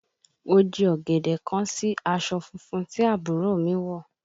Oje ọ̀gẹ̀dẹ̀ kán sí aṣọ funfun tí àbúrò mi wọ̀